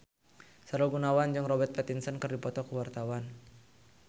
Sahrul Gunawan jeung Robert Pattinson keur dipoto ku wartawan